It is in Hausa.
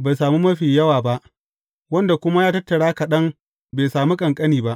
bai sami mafi yawa ba, wanda kuma ya tattara kaɗan bai sami ƙanƙani ba.